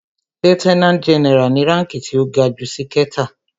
Lieutenant general ni ránki tí ó ga jù ṣìkẹta.